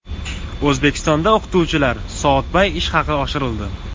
O‘zbekistonda o‘qituvchilar soatbay ish haqi oshirildi.